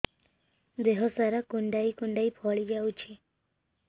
ଦେହ ସାରା କୁଣ୍ଡାଇ କୁଣ୍ଡାଇ ଫଳି ଯାଉଛି